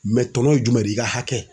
tɔnɔ ye jumɛn de ye, i ka hakɛ.